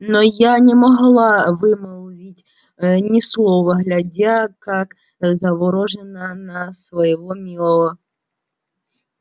но я не могла вымолвить ни слова глядя как заворожённая на своего милого